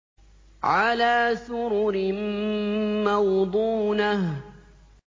عَلَىٰ سُرُرٍ مَّوْضُونَةٍ